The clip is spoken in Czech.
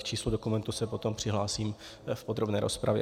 K číslu dokumentu se potom přihlásím v podrobné rozpravě.